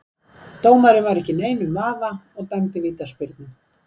Dómarinn var ekki í neinum vafa og dæmdi vítaspyrnu.